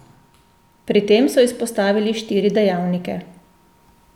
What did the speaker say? Pri tem so izpostavili štiri dejavnike.